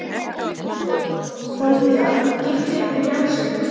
Hann skírði fólk, fermdi það, gifti og jarðsöng.